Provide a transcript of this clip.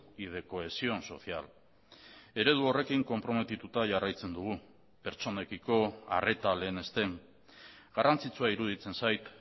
y de cohesión social eredu horrekin konprometituta jarraitzen dugu pertsonekiko arreta lehenesten garrantzitsua iruditzen zait